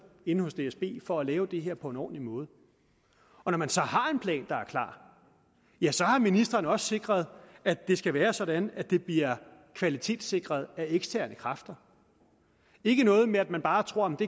inde hos dsb for at lave det her på en ordentlig måde og når man så har en plan der er klar ja så har ministeren også sikret at det skal være sådan at det bliver kvalitetssikret af eksterne kræfter ikke noget med at man bare tror at det